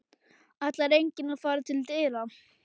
Ætlar enginn að fara til dyra?